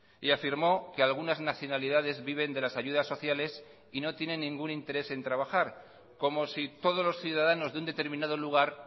y afirmó que algunas nacionalidades viven de las ayudas sociales y no tienen ningún interés en trabajar como si todos los ciudadanos de un determinado lugar